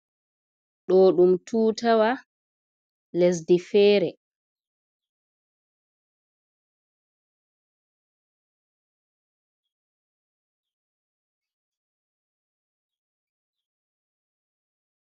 Ɗo ɗum tutawa lesdi fere.